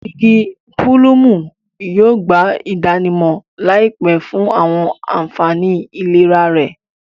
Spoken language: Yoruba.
Igi pulumu yóò gba idanimọ laipẹ fun awọn anfani ilera rẹ